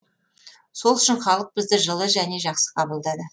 сол үшін халық бізді жылы және жақсы қабылдады